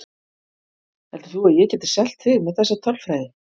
Heldur þú að ég geti selt þig með þessa tölfræði?